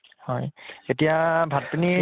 হয় এতিয়া ভাত পানী